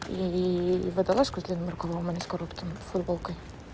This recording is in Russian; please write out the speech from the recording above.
и водолазку с длинным рукавом а не с коротким футболкой